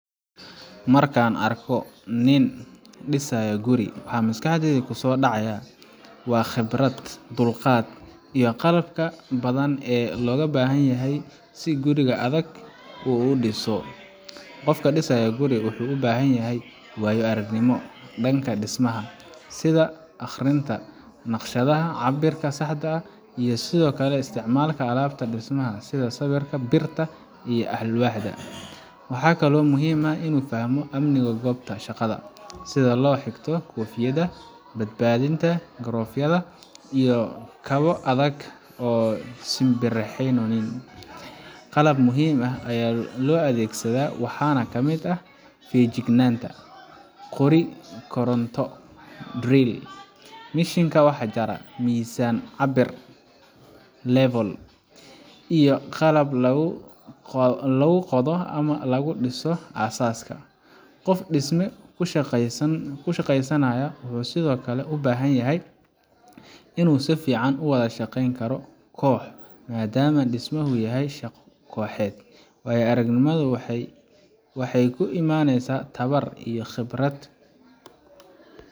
Marka aan arko nin dhisaya guri, waxa maskaxdayda ku soo dhacaya waa xirfadda, dulqaadka, iyo qalabka badan ee loo baahan yahay si guri adag oo ammaan ah loo dhiso. Qofka dhisaya guri wuxuu u baahan yahay waayo aragnimo dhanka dhismaha ah sida akhrinta naqshadaha, cabbirka saxda ah, iyo sida loo isticmaalo alaabta dhismaha sida sibirka, birta, iyo alwaaxa. Waxaa kaloo muhiim ah in uu fahmo amniga goobta shaqada sida loo xirto koofiyadda badbaadada, galoofyada, iyo kabo adag oo aan simbiriirixanayn. Qalab muhiim ah oo loo adeegsado waxaa ka mid ah: feejignaan, qori koronto drill, mishiinka wax jara, miisaan-cabbir level, iyo qalabka lagu qodo ama lagu dhiso aasaaska. Qof dhisme ku shaqaynaya wuxuu sidoo kale u baahan yahay in uu si fiican u wada shaqeyn karo koox, maadaama dhismahu yahay shaqo kooxeed. Waayo aragnimadu waxay ku imanaysaa tababar iyo khibrad.